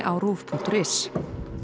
á ruv punktur is